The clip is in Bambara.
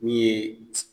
Min ye